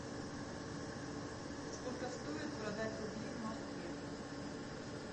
сколько стоит продать рубли в москве